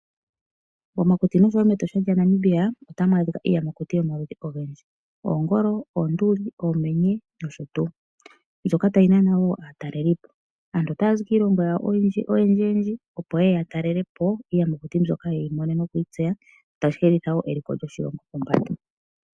Momakuti osho wo mEtosha lyaNamibia otamu adhika iiyamakuti yomaludhi ogendji: oongolo, oonduli, oomenye nosho tuu mbyoka tayi nana wo aatalelelipo. Aantu otaya zi kiilongo yawo oyendjiyendji opo ye ye ya talele po iiyamakuti mbyoka yeyi mone nokuyi tseya tashi hedhitha wo eliko lyoshilongo pombanda.